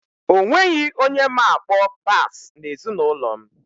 Onweghi onye ma-akpọ bass n'ezinụlọ m